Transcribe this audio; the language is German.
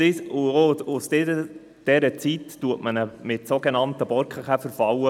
Seit dieser Zeit bekämpft man ihn mit sogenannten Borkenkäferfallen.